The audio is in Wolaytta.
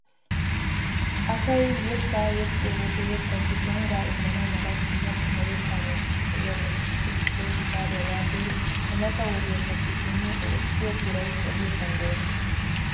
Asay yettaa yexxiyoo wode yettaasi shongaa immana mala dumma dumma yettaa miishshati de'iyaagetuppe issoy gitariyaa yaagiyoo ha mata wodiyaappe simmin i ekkiyoo biray odiyoosan deenna!